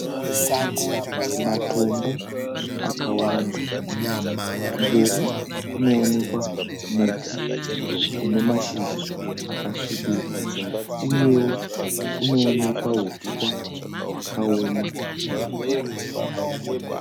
Matombo akawanda. Kumberi kunoonekwa muti une mashizha akasvibira uyewo kunoonekwa huswa hwakaoma.